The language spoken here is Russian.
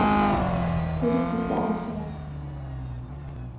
в ритме танца